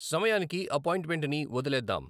సమయానికి అపాయింట్మెంట్ని వదిలేద్దాం